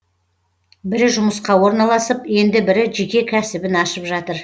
бірі жұмысқа орналасып енді бірі жеке кәсібін ашып жатыр